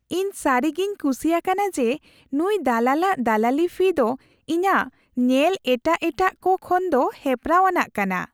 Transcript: ᱤᱧ ᱥᱟᱹᱨᱤᱜᱤᱧ ᱠᱩᱥᱤ ᱟᱠᱟᱱᱟ ᱡᱮ ᱱᱩᱭ ᱫᱟᱞᱟᱞᱟᱜ ᱫᱟᱞᱟᱞᱤ ᱯᱷᱤ ᱫᱚ ᱤᱧᱟᱹᱜ ᱧᱮᱞ ᱮᱴᱟᱜ ᱮᱴᱟᱜ ᱠᱚ ᱠᱷᱚᱱᱫᱚ ᱦᱮᱯᱨᱟᱣ ᱟᱱᱟᱜ ᱠᱟᱱᱟ ᱾